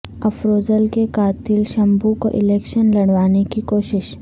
افروزل کے قاتل شمبھو کو الیکشن لڑوانے کی کوشش